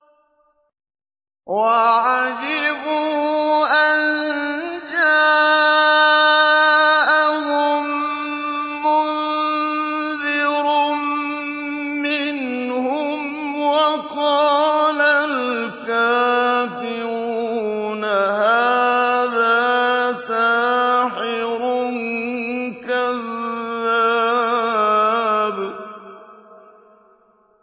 وَعَجِبُوا أَن جَاءَهُم مُّنذِرٌ مِّنْهُمْ ۖ وَقَالَ الْكَافِرُونَ هَٰذَا سَاحِرٌ كَذَّابٌ